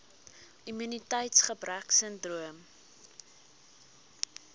immuniteits gebrek sindroom